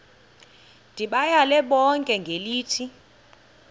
ndibayale bonke ngelithi